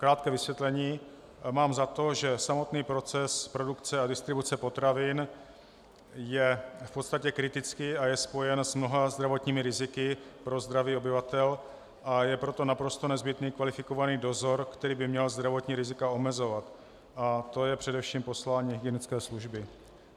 Krátké vysvětlení: Mám za to, že samotný proces produkce a distribuce potravin je v podstatě kritický a je spojen s mnoha zdravotními riziky pro zdraví obyvatel, a je proto naprosto nezbytný kvalifikovaný dozor, který by měl zdravotní rizika omezovat, a to je především poslání hygienické služby.